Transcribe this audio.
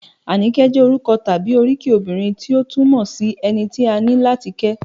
Àníkẹ́ jẹ́ orúkọ tàbí oríkì obìnrin tí ó túmọ̀ sí - ẹni tí a ní láti kẹ́